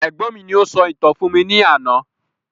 Ẹ̀gbọ́n mi ni o sọ ìtàn fún mi ní àná